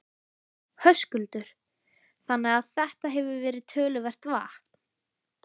Höskuldur: Þannig að þetta hefur verið töluvert vatn?